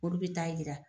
Olu bɛ taa yira